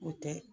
O tɛ